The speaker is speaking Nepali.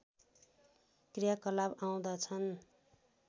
क्रियाकलाप आउँदछन्